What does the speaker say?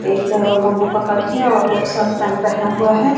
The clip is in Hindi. एक बंबू पकड़ के और वो शर्ट पैंट पहना हुआ है।